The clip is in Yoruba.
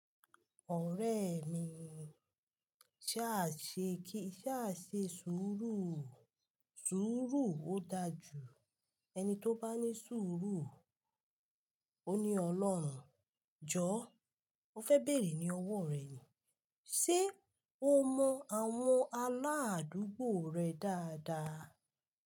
Ọ̀rẹ́ mi, ṣa ṣe kí, ṣa ṣe sùúrù, sùúrù ó dáa jù. Ẹni tí ó bá ní sùúrù, ó ní Ọlọ́run. Jọ́, mo fẹ́ bèrè ní owó rẹ ni, ṣe o mọ àwọn aládùúgbò rẹ dáadáa?